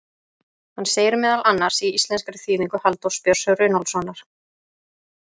Hann segir meðal annars, í íslenskri þýðingu Halldórs Björns Runólfssonar: